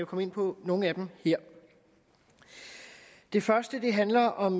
komme ind på nogle af dem her det første handler om